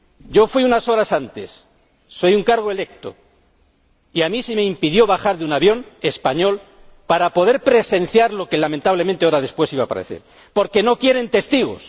Yo fui unas horas antes, soy un cargo electo y a mí se me impidió bajar de un avión español para poder presenciar lo que lamentablemente horas después iba a suceder, porque no quieren testigos.